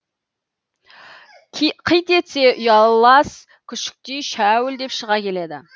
қит етсе ұялас күшіктей шәуілдеп шыға келеді